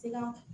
Se ka